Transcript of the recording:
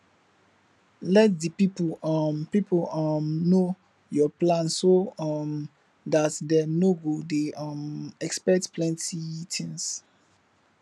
let di pipo um pipo um know your plan so um dat dem no go dey um expect plenty things